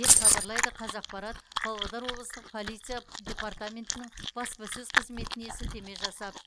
деп хабарлайды қазақпарат павлодар облыстық полиция департаментінің баспасөз қызметіне сілтеме жасап